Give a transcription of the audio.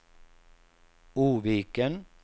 Oviken